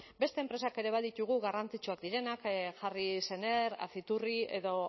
beste enpresak ere baditugu garrantzitsuak direnak jarri sener aciturri edo